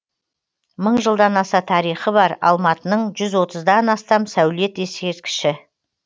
мың жылдан аса тарихы бар алматының жүз отыздан астам сәулет ескерткіші